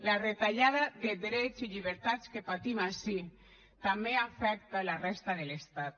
la retallada de drets i llibertats que patim ací també afecta la resta de l’estat